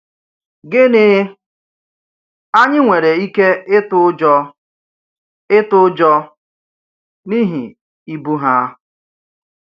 Gịnị, anyị nwere ike ịtụ ụjọ ịtụ ụjọ n’ihi ibu ha!